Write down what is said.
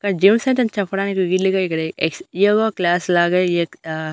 ఇక్కడ gym centre అని చెప్పడానికి వీలుగా ఇక్కడ ఎక్స్ ఏవో క్లాస్ లాగా ఏక్ ఆ--